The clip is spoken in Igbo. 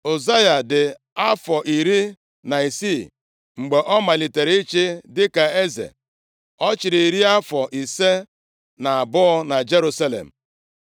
Ụzaya dị afọ iri na isii mgbe ọ malitere ịchị dịka eze. Ọ chịrị iri afọ ise na abụọ na Jerusalem.